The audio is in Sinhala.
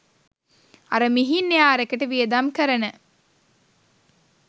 අර මිහින් එයාර් එකට වියදම් කරන